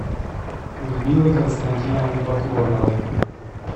людмилы константиновны подгорновой